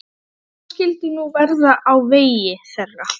Hvað skyldi nú verða á vegi þeirra?